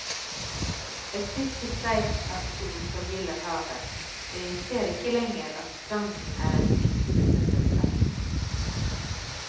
Et siste streif av sol forgyller havet, og jeg ser ikke lenger at stranden er en flytende søppelplass.